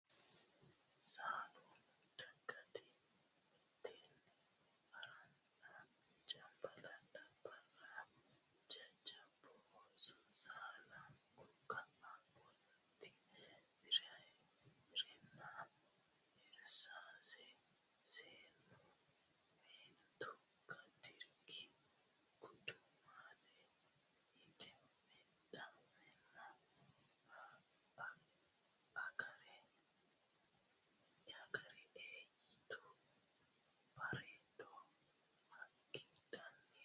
Sallanunna Dangiite mitteenni ha ranna Cambalaallate barra Jajjabbu ooso Sallannu ka annoti biirenna irsaase seennunna meentu gatikkinni gudumaaleho hidheemmana agarre e yituta Bareedo hagidhanni hosanno.